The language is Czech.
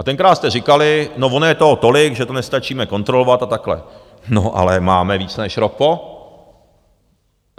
A tenkrát jste říkali, no, ono je toho tolik, že to nestačíme kontrolovat a takhle, no, ale máme více než rok po.